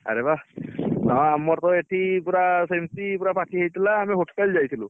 ଆରେ ବାଃ ହଁ ଆମର ତ ଏଠି ପୁରା ସେମିତି ପୁରା party ହେଇଥିଲା ଆମେ hotel ଯାଇଥିଲୁ